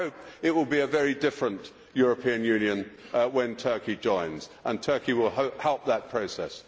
So I hope it will be a very different European Union when Turkey joins and that Turkey will help that process.